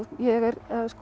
ég er